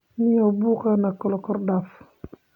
Nio buuqa nalakordaaf.